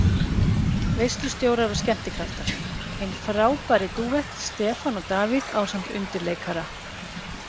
Veislustjórar og skemmtikraftar: Hinn frábæri dúett, Stefán og Davíð ásamt undirleikara.